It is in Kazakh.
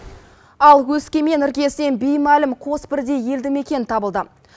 ал өскемен іргесінен беймәлім қосбірдей елді мекен табылды